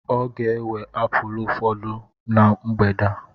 Ọ ga-ewe apulu ụfọdụ na mgbede a.